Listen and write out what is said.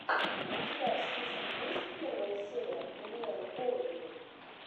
у тебя в списке есть первая серия даниэлы голубевой